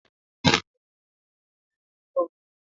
Chineye na-asa aka ya na tub.